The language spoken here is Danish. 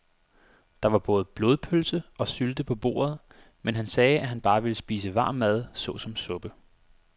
Der var både blodpølse og sylte på bordet, men han sagde, at han bare ville spise varm mad såsom suppe.